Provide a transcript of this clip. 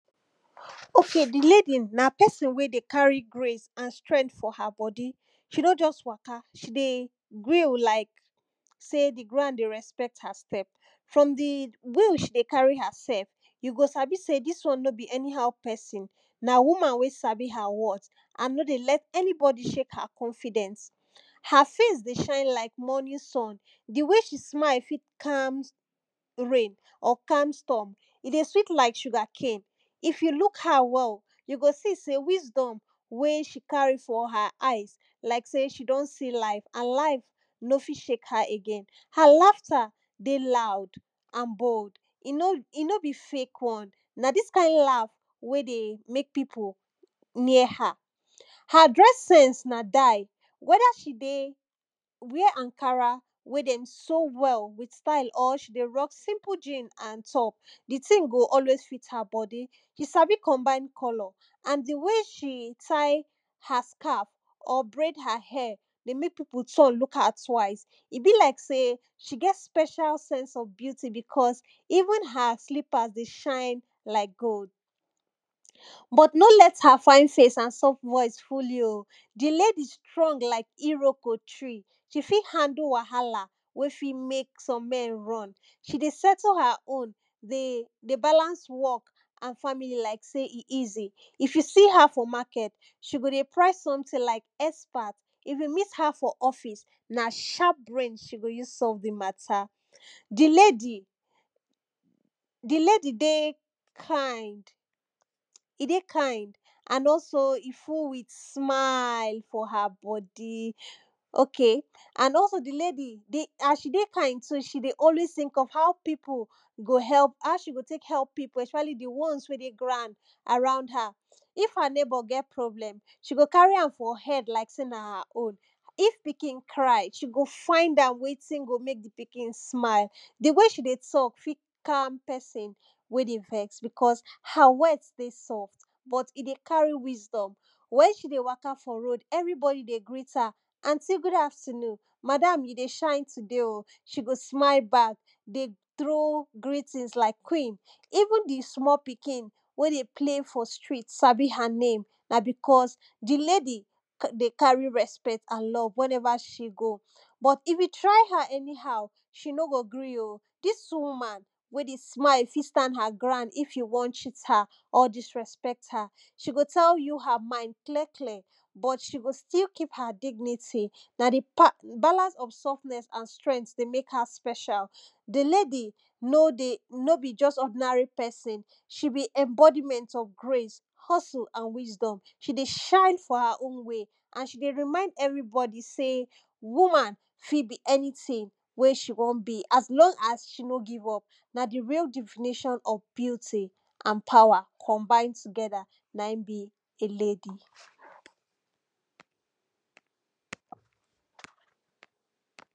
okay di lady, na person wen dey carry grace and strength for her body. she no just waka she dey grill like sey di ground dey respect her step, from di way she dey carry herself you go sabi sey dis one nor be anyhow person. na woman wey sabi her worth and no dey let anybody shake her confidence, her face dey shine like morning sun, di way she dey smile fit calm rain or calm storm, e dey sweet like suger cane, if you look her well you go see sey wisdom wen she carry for her eyes like sey she don see life and life no fit shake her again, her laughter dey loud and bold e no be e no be fake one, na dis kind laugh wey dey make people near her. her dress sense na die, wether she dey wear Ankara wen dem sew well with style or she dey rock simple jean and top, di thing go always fit her body, she sabi combine colour and di way she tie her scarf or braid her hair, dey make people turn look her twice. e be like sey she get special sence of beauty because, even her slippers dey shine like gold. but no let her fine face and soft voice fool you oh, di lady strong like iroko tree, she fit handle wahala wey fit make some men run. she dey settle her home dey dey balance work and family like sey e easy, if you see her for market she go dey price something like expert. if you meet her for office, na sharp brain she go use solve di matter. di lady di lady dey kind, e dey kind, and also e full with smile for her body. okay and also di lady dey as she dey kind so she dey always think of how people go help, how she go take help people especially di ones wen dey ground around her. if her neighbour get problem, she go carry am for head like sey na her own. if pikin cry she go find out wetin go make di pikin smile, di way she talk fit calm person wey dey vex because her words dey soft but e dey carry wisdom. wen she dey waka for road every body dey greet her anty good afternoon, madam you dey shine today oh, she go smile back dey trow greeting like queen. even di small pikin wey dey play for street sabi her name, na because di lady carry dey carry respect and love whenever she go. but if you try her anyhow she no go gree oh, dis woman wey dey smiled fit stand her ground if you wan cheat her or disrespect her. she go tell you her mind clear clear but she go still keep her dignity. her di part balance of softness and strength dey make her special. di lady no dey no be just ordinary person. she bi embodiment of grace, hustle and wisdom. she dey shine for her own way and she dey remind everybody sey woman fit be anything wey she wan be, as long as she no give up na di real definition of beauty and power combine together na im be a lady.